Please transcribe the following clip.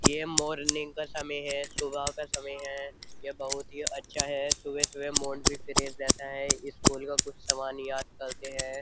ये मॉर्निंग का समय है सुबह का समय है ये बहुत ही अच्छा है सुबह-सुबह मोंट भी फ्रेज रहता है स्कूल का कुछ सामान याद करते हैं।